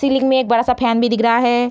Ceiling में एक बड़ा-सा फैन भी दिख रहा है।